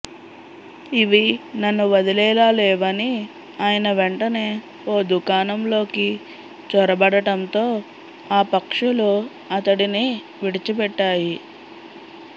ఇవి నన్ను వదిలేలా లేవని ఆయన వెంటనే ఓ దుకాణంలోకి చొరబడటంతో ఆ పక్షులు అతడిని విడిచిపెట్టాయి